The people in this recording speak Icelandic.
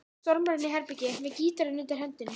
Stormar fram í anddyrið með gítarinn undir hendinni.